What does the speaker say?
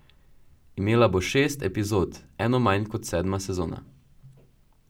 Imela bo šest epizod, eno manj kot sedma sezona.